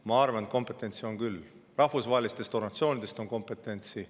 Ma arvan, et kompetentsi on küll, ka rahvusvahelistest organisatsioonidest on kompetentsi.